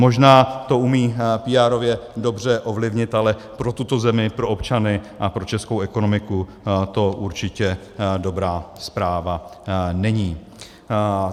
Možná to umí píárově dobře ovlivnit, ale pro tuto zemi, pro občany a pro českou ekonomiku to určitě dobrá zpráva není.